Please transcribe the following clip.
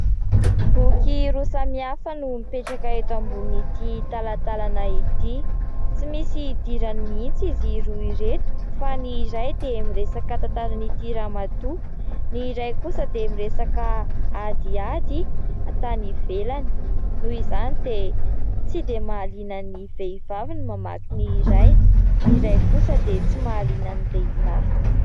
Boky roa samy hafa no mipetraka eto ambonin'ity talantalana ity. Tsy misy idirany mihitsy izy roa ireto fa ny iray dia miresaka tantaran'ity Ramatoa, ny iray kosa dia miresaka adiady tany ivelany noho izany dia tsy mahaliana ny vehivavy ny mamaky ny iray, ny iray kosa dia tsy mahaliana ny lehilahy.